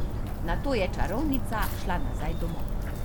Nato je čarovnica šla nazaj domov.